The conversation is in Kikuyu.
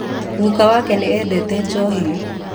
Guka wake nĩ endete njohi